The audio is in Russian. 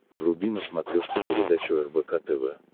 вруби на смотрешке передачу рбк тв